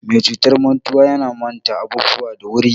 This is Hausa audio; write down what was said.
Mai cutar mantuwa yana mata abubuwa da wuri.